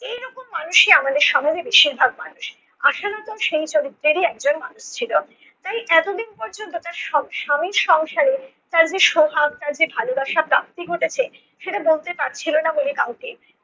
এরকম মানুষই আমাদের সমাজে বেশিরভাগ মানুষ। আশালতা সেই চরিত্রেরই একজন মানুষ ছিল। তাই এতদিন পর্যন্ত তার স~ স্বামীর সংসারে তার যে সোহাগ তার যে ভালোবাসা প্রাপ্তি ঘটেছে সেটা বলতে পারছিলো না বলে কাউকে